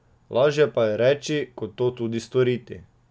Lažje pa je reči, kot to tudi storiti.